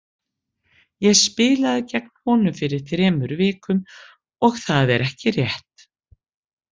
Ég spilaði gegn honum fyrir þremur vikum og það er ekki rétt.